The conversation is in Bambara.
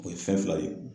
O ye fɛn fila ye